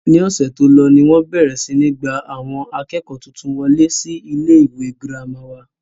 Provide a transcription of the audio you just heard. ní ọ̀sẹ̀ tó lọ ni wọ́n bẹ̀rẹ̀ sí ní gba àwọn akẹ́kọ̀ọ́ tuntun wolé sí ilé ìwé girama wà